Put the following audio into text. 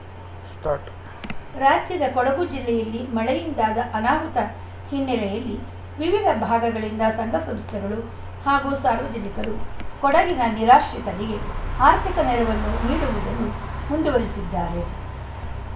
start ರಾಜ್ಯದ ಕೊಡಗು ಜಿಲ್ಲೆಯಲ್ಲಿ ಮಳೆಯಿಂದಾದ ಅನಾಹುತ ಹಿನ್ನೆಲೆಯಲ್ಲಿ ವಿವಿಧ ಭಾಗಗಳಿಂದ ಸಂಘ ಸಂಸ್ಥೆಗಳು ಹಾಗೂ ಸಾರ್ವಜನಿಕರು ಕೊಡಗಿನ ನಿರಾಶಿತರಿಗೆ ಆರ್ಥಿಕ ನೆರವನ್ನು ನೀಡುವುದನ್ನು ಮುಂದುವರಿಸಿದ್ದಾರೆ